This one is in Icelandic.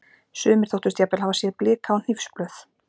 Sumir þóttust jafnvel hafa séð blika á hnífsblöð.